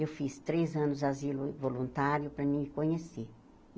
Eu fiz três anos de asilo voluntário para eu conhecer.